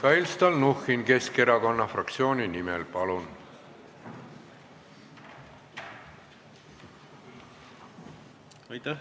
Mihhail Stalnuhhin Keskerakonna fraktsiooni nimel, palun!